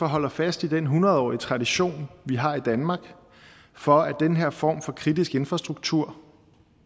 holder fast i den hundredårige tradition vi har i danmark for at den her form for kritisk infrastruktur